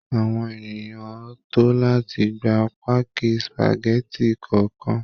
Àwọn ènìyàn ń tò láti gba páàkì spageti kọ̀ọ̀kan